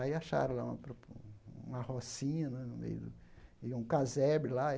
Aí acharam lá uma pro um uma rocinha né, no meio do e um casebre lá.